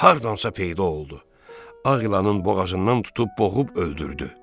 Hardansa peyda oldu, ağ ilanın boğazından tutub boğub öldürdü.